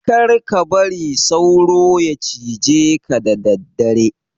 karka bari sauro ya jije ka da daddare